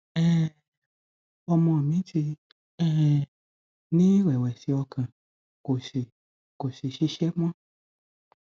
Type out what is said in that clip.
um ọmọ mi ti um ní ìrẹwẹsì ọkàn kò sì kò sì ṣiṣẹ mọ